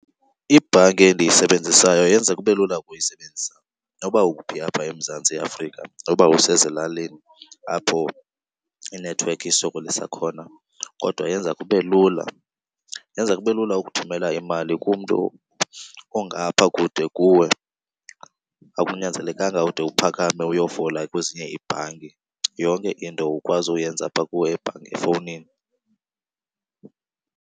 Ibhanki endiyisebenzisayo yenza kube lula ukuyisebenzisa noba uphi apha eMzantsi Afrika. Noba usezilalini apho inethiwekhi isokolisa khona kodwa yenza kube lula. Yenza kube lula ukuthumela imali kumntu ongapha kude kuwe. Akunyanzelekanga ude uphakame uyofola kwezinye iibhanki. Yonke into ukwazi uyenza apha kuwe efowunini.